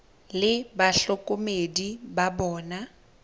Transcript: le bahlokomedi ba bona ba